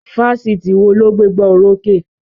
Fáfitì wo ló gbé gbá orókè?